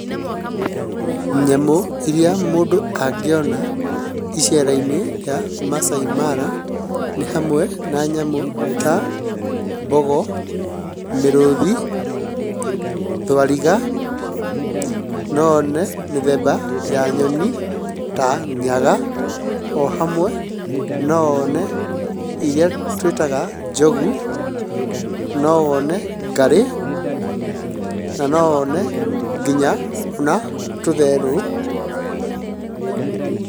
Nyamũ iria mũndũ angĩona iceera-inĩ rĩa Maasai Mara nĩ hamwe na nyamũ ta mbogo, mĩrũthi, thwariga. No one mĩthemba ya nyoni ta nyaga, o hamwe no one iria twĩtaga njogu, no one ngarĩ, na no one nginya ona tũtherũ .